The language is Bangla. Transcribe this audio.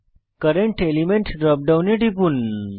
কারেন্ট এলিমেন্ট ড্রপ ডাউনে টিপুন